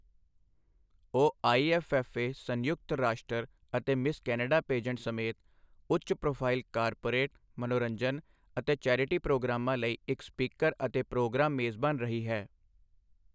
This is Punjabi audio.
ਉਹ ਆਈਐੱਫਐੱਫਏ, ਸੰਯੁਕਤ ਰਾਸ਼ਟਰ ਅਤੇ ਮਿਸ ਕੈਨੇਡਾ ਪੇਜੈਂਟ ਸਮੇਤ ਉੱਚ ਪ੍ਰੋਫਾਈਲ ਕਾਰਪੋਰੇਟ, ਮਨੋਰੰਜਨ ਅਤੇ ਚੈਰਿਟੀ ਪ੍ਰੋਗਰਾਮਾਂ ਲਈ ਇੱਕ ਸਪੀਕਰ ਅਤੇ ਪ੍ਰੋਗਰਾਮ ਮੇਜ਼ਬਾਨ ਰਹੀ ਹੈ।